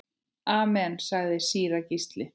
Amen, sagði síra Gísli.